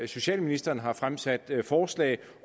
socialministeren har fremsat forslag